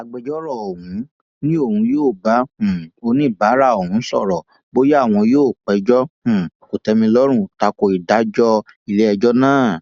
agbẹjọrò ọhún ni òun yóò bá um oníbàárà òun sọrọ bóyá àwọn yóò péjọ um kòtèmilọrùn takò ìdájọ iléẹjọ náà